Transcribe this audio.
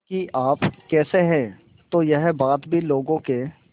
कि आप कैसे हैं तो यह बात भी लोगों के